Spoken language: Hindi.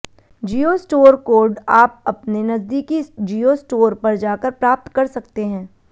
जियो स्टोर कोड आप अपने नजदीकी जियो स्टोर पर जाकर प्राप्त कर सकते हैं